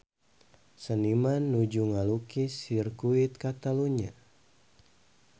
Seniman nuju ngalukis Sirkuit Catalunya